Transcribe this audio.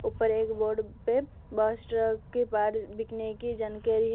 ऊपर एक बोर्ड पे बस के पार्ट बिकने के जानकारी है।